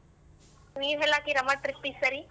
ನೀವ್ ಎಲ್ಲ್ ಹಾಕಿರಮ್ಮ trip ಈ ಸರಿ?